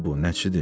Kimdir bu?